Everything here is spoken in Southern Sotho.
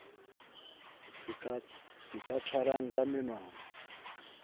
se ka tshwarwang ka menwana